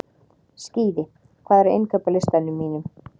Skíði, hvað er á innkaupalistanum mínum?